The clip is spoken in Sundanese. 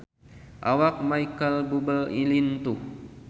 Awak Micheal Bubble lintuh